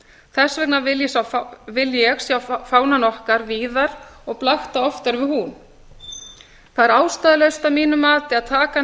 þess vegna vil ég sjá fánann okkar víðar og blakta oftar við hún það er ástæðulaust að mínu mati að taka hann